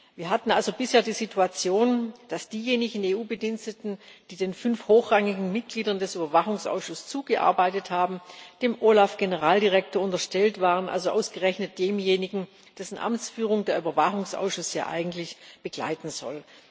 Wir hatten also bisher die Situation, dass diejenigen EU Bediensteten, die den fünf hochrangigen Mitgliedern des Überwachungsausschusses zugearbeitet haben, dem OLAF Generaldirektor unterstellt waren, also ausgerechnet demjenigen, dessen Amtsführung der Überwachungsausschuss ja eigentlich begleiten soll.